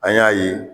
An y'a ye